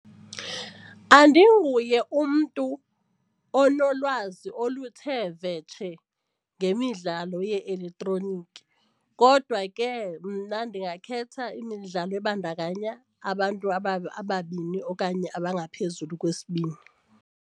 Andinguye umntu onolwazi oluthe vetshe ngemidlalo ye-elektroniki kodwa ke mna ndingakhetha imidlalo ebandakanya abantu ababini okanye abangaphezulu kwesibini.